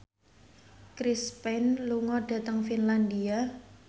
Chris Pane lunga dhateng Finlandia